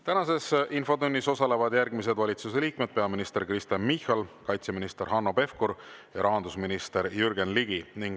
Tänases infotunnis osalevad järgmised valitsuse liikmed: peaminister Kristen Michal, kaitseminister Hanno Pevkur ja rahandusminister Jürgen Ligi.